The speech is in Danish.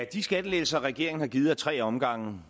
de skattelettelser regeringen har givet ad tre omgange